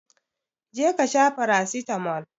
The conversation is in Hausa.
je kasha farasitamol